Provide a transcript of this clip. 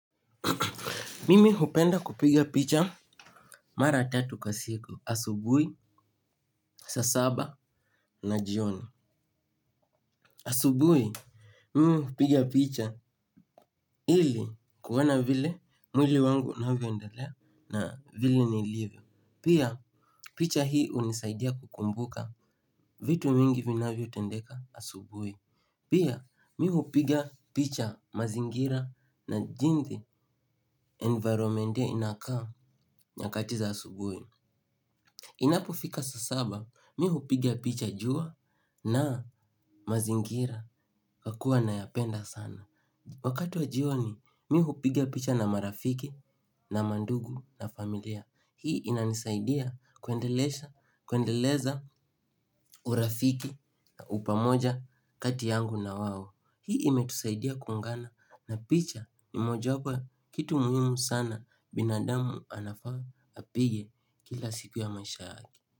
Mimi hupenda kupiga picha mara tatu kwa siku, asubuhi, saa saba, na jioni. Asubuhi, mimi hupiga picha ili kuona vile mwili wangu unavyoendalea na vile nilivyo. Pia, picha hii hunisaidia kukumbuka vitu mingi vinavyotendeka asubuhi. Pia, mimi hupiga picha mazingira na jinsi environment hiyo inakaa nyakati za asubuhi. Inapofika saa saba, mi hupiga picha jua na mazingira kwa kuwa nayapenda sana. Wakati wa jioni mi, mi hupigia picha na marafiki, na mandugu, na familia. Hii inanisaidia kuendeleza urafiki na upamoja kati yangu na wao. Hii imetusaidia kuungana na picha ni mojawapo ya kitu muhimu sana binadamu anafaa apige kila siku ya maisha yake.